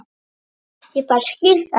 Ég bara skil það ekki.